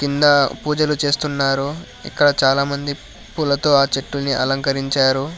నా పూజలు చేస్తున్నారు ఇక్కడ చాలామంది పులతో ఆ చెట్టుని అలంకరించారు.